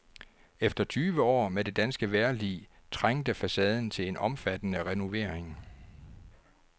Efter tyve år med det danske vejrlig trængte facaden til en omfattende renovering.